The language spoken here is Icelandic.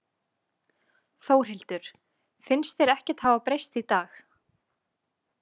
Þórhildur: Finnst þér ekkert hafa breyst í dag?